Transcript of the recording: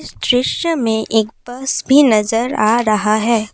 इस दृश्य में एक बस भी नजर आ रहा है।